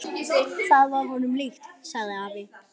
Það var honum líkt, sagði afi.